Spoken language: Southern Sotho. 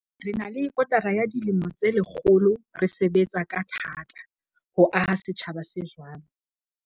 Re na le kotara ya dilemo tse lekgolo re sebetsa ka tha-ta ho aha setjhaba se jwalo.